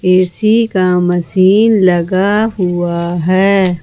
AC का machine लगा हुआ है ।